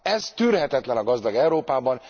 Ez tűrhetetlen a gazdag Európában!